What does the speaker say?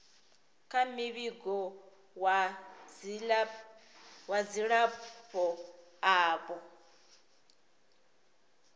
kha muvhigo wa dzilafho avho